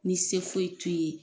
Ni se foyi t'u ye.